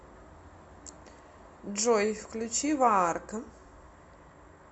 джой включи ваарка